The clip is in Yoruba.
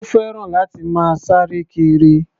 Ó fẹ́ràn láti máa sáre kiri.